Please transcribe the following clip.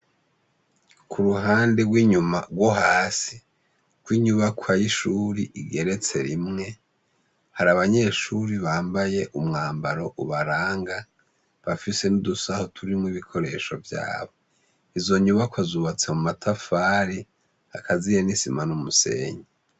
Ku ruhande rw'inyuma rwo hasi, rw'inyubakwa y'ishuri igeretse rimwe, hari abanyeshuri bambaye umwambaro ubaranga, bafise n'udusaho turimwo ibikoresho vyabo. Izo nyubakwa zubatse mu matafari, akaziye n'isima n'umusenyi.